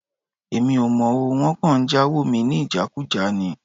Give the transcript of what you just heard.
Èmi ò mọ̀ o. Wọ́n kàn ń jáwo mi ní ìjákùjá ni.